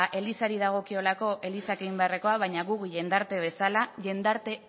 elizari dagokiolako elizak egin beharrekoak baina guk jendarte bezala jendarte